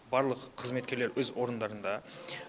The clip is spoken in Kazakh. барлық қызметкер өз орындарында